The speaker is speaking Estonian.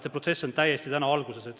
See protsess on täiesti alguses.